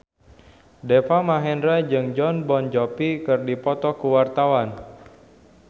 Deva Mahendra jeung Jon Bon Jovi keur dipoto ku wartawan